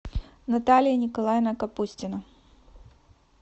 наталья николаевна капустина